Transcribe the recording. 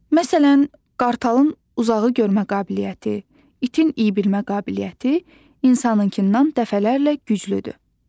Məsələn, qartalın uzağı görmə qabiliyyəti, itin iyi bilmə qabiliyyəti insankından dəfələrlə güclüdür.